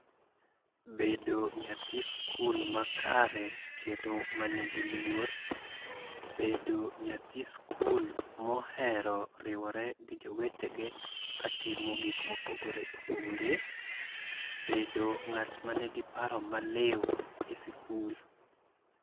Bedo nyathi sikul makare kendo manigi luor. Bedo nyathi sikul mohero riwore gi jowetene ka timo gik mopogore opogore. Bedo ng'at ma nigi paro maliw e sikul.